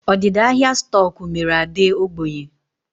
Ọdịda ahịa stoku mere Ade ógbènye